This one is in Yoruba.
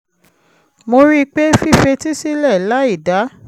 mo rí i pé fífetí sílẹ̀ láì dá